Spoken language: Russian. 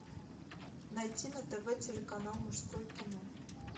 найти на тв телеканал мужское кино